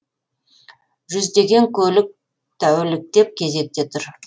жүздеген көлік тәуліктеп кезекте тұр